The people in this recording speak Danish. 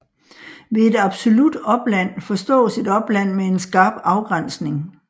Ved et absolut opland forstås et opland med en skarp afgrænsning